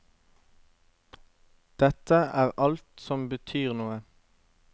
Dette er alt som betyr noe.